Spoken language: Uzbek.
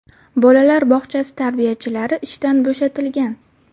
Bolalar bog‘chasi tarbiyachilari ishdan bo‘shatilgan.